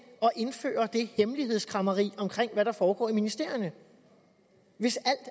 indføre det hemmelighedskræmmeri om hvad der foregår i ministerierne hvis alt